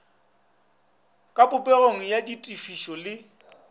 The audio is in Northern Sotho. ka popegong ya ditefišo le